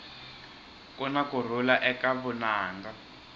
kuna kurhula eka vunanga